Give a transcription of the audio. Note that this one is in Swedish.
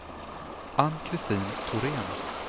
Ann-Kristin Thorén